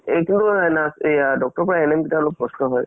এক ধৰণৰ nurse এয়া doctor ৰ পৰা of গিতাৰ অলপ কষ্ট হয়।